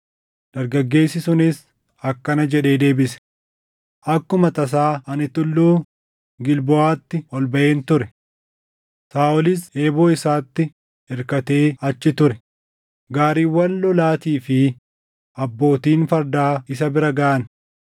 Dargaggeessi sunis akkana jedhee deebise; “Akkuma tasaa ani Tulluu Gilboʼaatti ol baʼeen ture; Saaʼolis eeboo isaatti irkatee achi ture; gaariiwwan lolaatii fi abbootiin fardaa isa bira gaʼan.